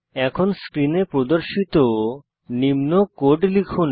এখন স্ক্রিনে প্রদর্শিত নিম্ন কোড লিখুন